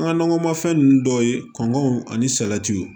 An ka nakɔmafɛn ninnu dɔw ye kɔngɔw ani salatiw